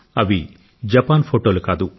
అవి జపాన్ ఫోటోలు కాదు